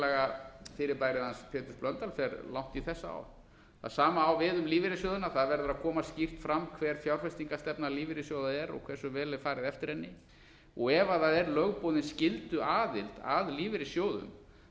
hlutafélagafyrirbærið hans péturs blöndals er langt í þessa átt það sama á við um lífeyrissjóðina það verður að koma skýrt fram hver fjárfestingarstefna lífeyrissjóða er og hversu vel er farið eftir henni ef það er lögboðin skylduaðild að lífeyrissjóðum